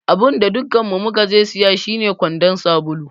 Abinda dukkanmu mukaje siya shine kwandon sabulu.